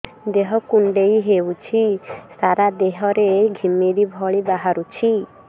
ଦେହ କୁଣ୍ଡେଇ ହେଉଛି ସାରା ଦେହ ରେ ଘିମିରି ଭଳି ବାହାରୁଛି